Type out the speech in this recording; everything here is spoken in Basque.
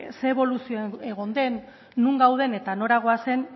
ze eboluzio egon den non gauden eta nora goazen